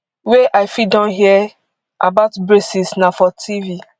wey i fit don hear about braces na for tv